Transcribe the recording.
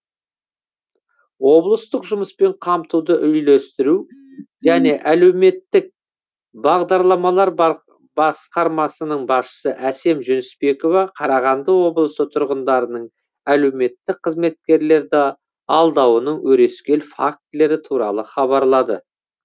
облыстық жұмыспен қамтуды үйлестіру және әлеуметтік бағдарламалар басқармасының басшысы әсем жүнісбекова қарағанды облысы тұрғындарының әлеуметтік қызметкерлерді алдауының өрескел фактілері туралы хабарлады